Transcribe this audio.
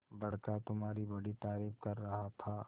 बड़का तुम्हारी बड़ी तारीफ कर रहा था